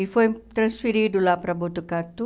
E foi transferido lá para Botucatu,